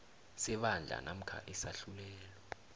sebandla namkha isahlulelo